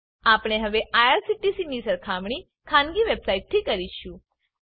આપણે હવે આઇઆરસીટીસી ની સરખામણી ખાનગી વેબસાઈટથી કરીશું